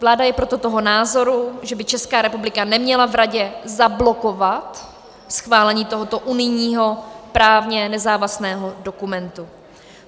Vláda je proto toho názoru, že by Česká republika neměla v Radě zablokovat schválení tohoto unijního právně nezávazného dokumentu.